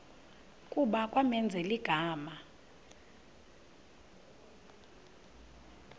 kuba kwamenzela igama